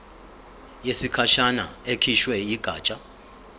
yesikhashana ekhishwe yigatsha